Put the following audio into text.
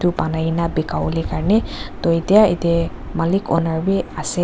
banaikae na bika wolae karne toh etiya yatae malik owner bi ase.